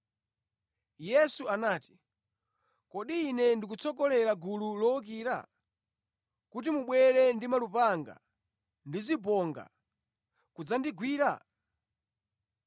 Yesu anati, “Kodi Ine ndikutsogolera gulu lowukira, kuti mubwera ndi malupanga ndi zibonga kudzandigwira?